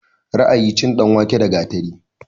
Ra'ayi, cin danwake da gatari